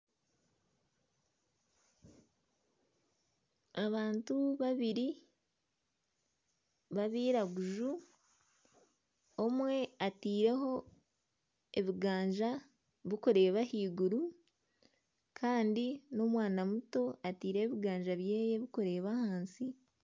Abantu babiri ba abiraguju, omwe ateire ho ebiganja birikureeba ah'iguru Kandi n'omwana muto ateireho ebiganja byeye biri kureeba ahansi.